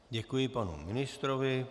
Děkuji panu ministrovi.